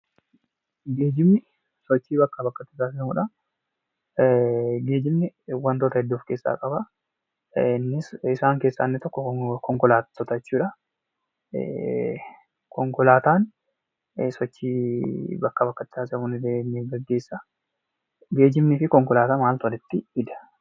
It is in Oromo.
Geejjibni sochii bakkaa bakkatti taasifamuudha. Geejjibni waantota hedduu of keessaa qaba. Isaan keessaa inni tokko konkolaattota jechuudha. Konkolaataan sochii bakkaa bakkatti taasifamu ni gaggeessaa. Geejjibaa fi konkolaataa maaltu walitti fida?